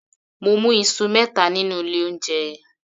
Mo mú Isu mẹta nínú ilé oúnjẹ